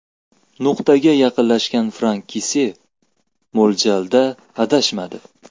Nuqtaga yaqinlashgan Frank Kessie mo‘ljalda adashmadi.